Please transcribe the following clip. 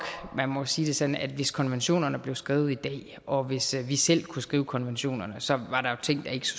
man må sige det sådan at hvis konventionerne blev skrevet i dag og hvis vi selv kunne skrive konventionerne så var der ting der ikke